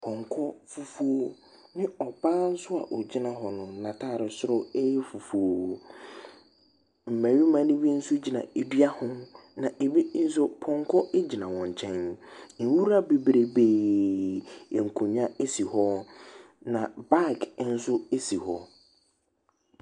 Pɔnkɔ fufuo ne ɔbaa nso a ɔgyina honom, n'atade soro yɛ fufuo. Mmarima no bi nso gyina dua ho, na ebi nso, pɔnkɔ gyina wɔn nkyɛn. Nwura bebrebee, nkonnwa si hɔ, na bag nso si hɔ.